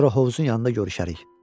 Sonra hovuzun yanında görüşərik.